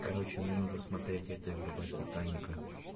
короче мне нужно смотреть эта группа титаника